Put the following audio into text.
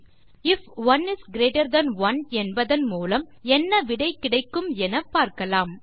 if 1 is greater than 1 என்பதன் மூலம் என்ன விடை கிடைக்கும் என பார்க்கலாம்